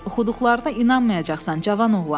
Oxuduqlarına inanmayacaqsan, cavan oğlan!”